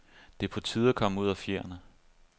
Det er på tide at komme ud af fjerene.